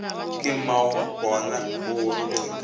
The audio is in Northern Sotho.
ke mmabona o gorogile ka